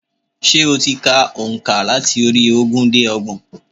Sé o ti ka ònkà láti orí ogún dé ọgbọ̀n?